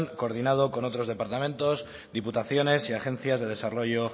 coordinado con otros departamentos diputaciones y agencias de desarrollo